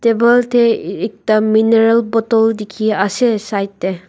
table te eh ekta mineral bottle dikhiase side te.